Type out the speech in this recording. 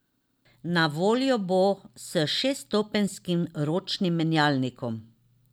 Na voljo bo s šeststopenjskim ročnim menjalnikom.